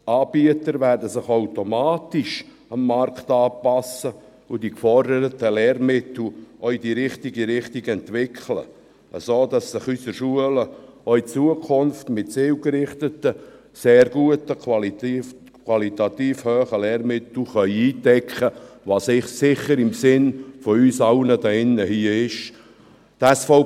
Die Anbieter werden sich dem Markt automatisch anpassen und die geforderten Lehrmittel auch in die richtige Richtung entwickeln, sodass sich unsere Schulen auch in Zukunft mit zielgerichteten, sehr guten und qualitativ hochstehenden Lehrmitteln eindecken können, was sicher im Sinn von uns allen hier in diesem Saal ist.